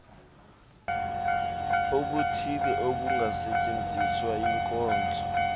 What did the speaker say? obuthile obungasetyenziswa yinkonzo